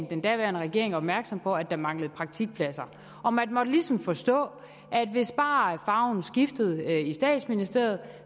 den daværende regering opmærksom på at der manglede praktikpladser og man måtte ligesom forstå at hvis bare farven skiftede i statsministeriet